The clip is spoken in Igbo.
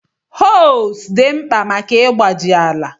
Hoes dị mkpa maka ịgbaji ala.